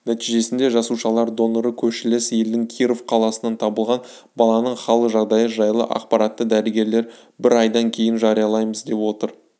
нәтижесінде жасушалар доноры көршілес елдің киров қаласынан табылған баланың хал жағдайы жайлы ақпаратты дәрігерлер бір айдан кейін жариялаймыз деп отыр